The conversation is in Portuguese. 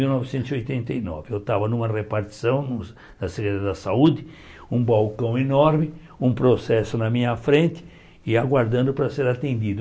Mil novecentos e oitenta e nove eu estava numa repartição da Secretaria da Saúde, um balcão enorme, um processo na minha frente e aguardando para ser atendido.